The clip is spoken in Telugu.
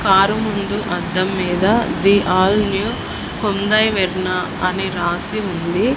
కారు ముందు అద్దం మీద the all new Hyundai Verna అని రాసి ఉంది.